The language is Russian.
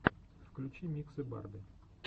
включи миксы барби